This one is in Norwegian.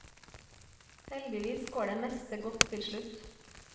Heldigvis går det meste godt til slutt.